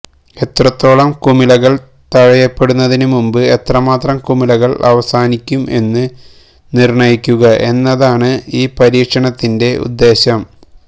എത്രത്തോളം കുമിളകൾ തഴയപ്പെടുന്നതിന് മുമ്പ് എത്രമാത്രം കുമിളകൾ അവസാനിക്കും എന്ന് നിർണ്ണയിക്കുക എന്നതാണ് ഈ പരീക്ഷണത്തിന്റെ ഉദ്ദേശ്യം